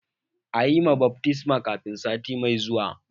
A yi ma baftisma kafin sati mai zuwa!